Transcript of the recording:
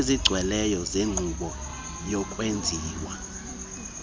ezigcweleyo zenkqubo yokwenziwa